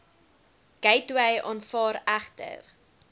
gateway aanvaar egter